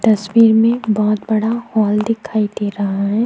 तस्वीर में बहुत बड़ा हॉल दिखाई दे रहा हैं।